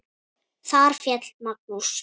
Þar féll Magnús.